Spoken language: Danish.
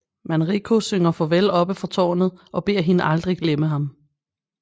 Manrico synger farvel oppe fra tårnet og beder hende aldrig glemme ham